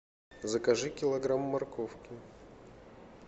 закажи килограмм морковки